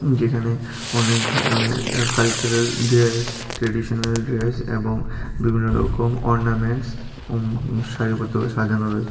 যেখানে অনেক ধরনের আঃ কালচারাল ড্রেস ট্রেডিশনাল ড্রেস এবং বিভিন্নরকম অর্ণামেন্টস উম সারিবদ্ধভাবে সাজানো রয়ে--